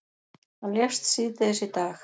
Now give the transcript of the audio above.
Hann lést síðdegis í dag.